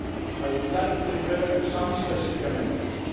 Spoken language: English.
I would like to refer to some specific amendments.